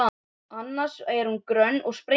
Annars var hún grönn og spengileg.